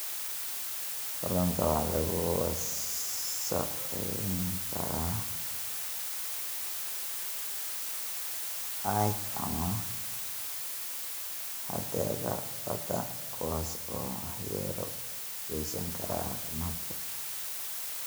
Kalluunka waxa lagu wasakhayn karaa caag ama hadhaaga badda kuwaas oo waxyeelo u geysan kara caafimaadka.